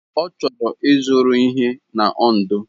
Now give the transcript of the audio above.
Ọ chọrọ ịzụrụ ihe na Ondo.